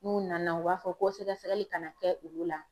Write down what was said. N'u nana u b'a fɔ ko sɛgɛsɛgɛli kana kɛ olu la.